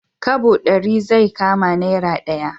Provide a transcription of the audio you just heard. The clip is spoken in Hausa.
Kwabo ɗari zai kama naira ɗaya